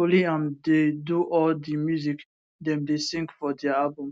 only am dey do all di music dem dey sing for dia albums